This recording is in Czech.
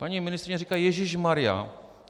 Paní ministryně říká: ježíšmarjá!